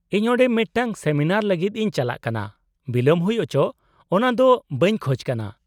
-ᱤᱧ ᱚᱸᱰᱮ ᱢᱤᱫᱴᱟᱝ ᱥᱮᱢᱤᱱᱟᱨ ᱞᱟᱹᱜᱤᱫ ᱤᱧ ᱪᱟᱞᱟᱜ ᱠᱟᱱᱟ, ᱵᱤᱞᱚᱢ ᱦᱩᱭ ᱦᱚᱪᱚᱜ ᱚᱱᱟ ᱫᱚ ᱵᱟᱹᱧ ᱠᱷᱚᱡ ᱠᱟᱱᱟ ᱾